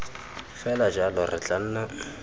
fela jalo re tla nna